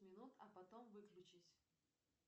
минут а потом выключись